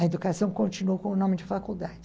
A Educação continuou como nome de faculdade.